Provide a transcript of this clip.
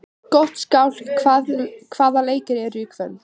Gottskálk, hvaða leikir eru í kvöld?